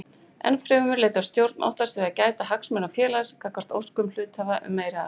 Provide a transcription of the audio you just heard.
Ennfremur leitast stjórn oftast við að gæta hagsmuna félagsins gagnvart óskum hluthafa um meiri arð.